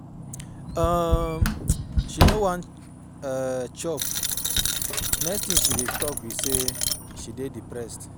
um She no wan um chop. Next thing she talk be say she dey depressed.